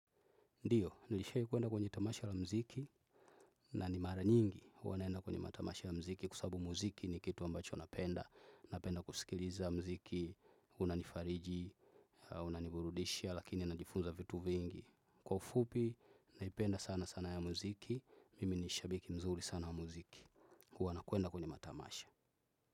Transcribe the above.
Ndiyo, nilishai kwenda kwenye tamasha la mziki na ni mara nyingi. Uwanaenda kwenye matamasha ya mziki kwa sabu mziki ni kitu ambacho napenda. Napenda kusikiliza mziki, unanifariji, unaniburudisha, lakini najifunza vitu vingi. Kwa ufupi, naipenda sana sana ya mziki, mimi nishabiki mzuri sana ya mziki. Uwa nakwenda kwenye matamasha.